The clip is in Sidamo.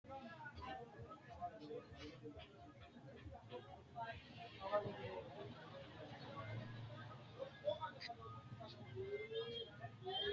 tini maa xawissanno misileeti? qooxeessisera may leellanno? tenne aana leellannori dubbu saada ikkitanna su'mansa maati yinanni? insa afantannohu mama lawanno'ne?